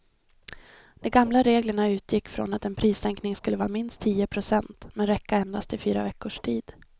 De gamla reglerna utgick från att en prissänkning skulle vara minst tio procent men räcka endast i fyra veckors tid.